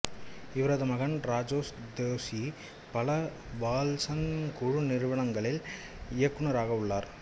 இவரது மகன் ராஜாஸ் தோசி பல வால்சந்த் குழு நிறுவனங்களில் இயக்குநராக உள்ளார்